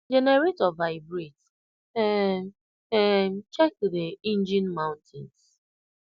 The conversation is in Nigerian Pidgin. generator vibrates um um check dey engine mountings